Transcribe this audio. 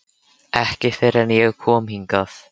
Ekki fyrr en ég kom hingað.